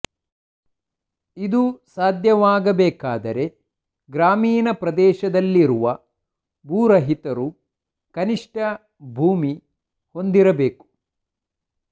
ಇದು ಸಾಧ್ಯವಾಗಬೇಕಾದರೆ ಗ್ರಾಮೀಣ ಪ್ರದೇಶದಲ್ಲಿರುವ ಭೂರಹಿತರು ಕನಿಷ್ಠ ಭೂಮಿ ಹೊಂದಬೇಕು